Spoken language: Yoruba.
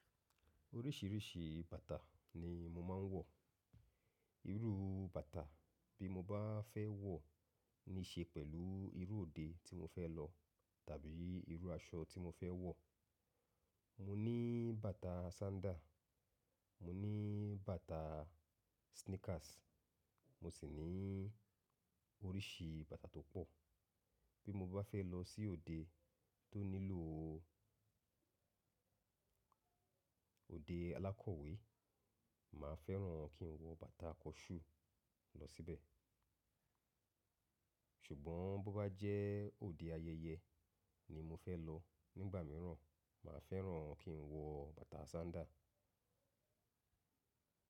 Oríṣìíríṣìí bàtà ni mo máa ń wọ̀. Irú bàtà bí mo bá fẹ́ wọ̀ ní ṣe pẹ̀lú irú òde tí mo fẹ́ lọ tàbí irú aṣọ tí mo fẹ́ wọ̀. Mo ní bàtà sandal, mo ní bàtà sneakers, mo sì ní oríṣi bàtà tó pọ̀. Bí mo bá fẹ́ lọ sí òde tó nílò òde alákọ̀wé, màá fẹ́ràn kí n wọ bàtà kọ́ṣú lọ síbẹ̀. Ṣùgbọ́n bó bá jẹ́ òde ayẹyẹ ni mo fẹ́ lọ, nígbà míràn màá fẹ́ràn kí n wọ bàtà sandal.